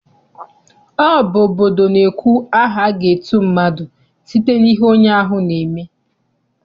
Ọ bụ obodo na-ekwu aha aga etu mmadụ site n'ihe onye ahụ na-eme.